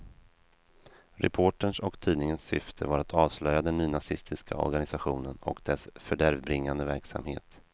Reporterns och tidningens syfte var att avslöja den nynazistiska organisationen och dess fördärvbringande verksamhet.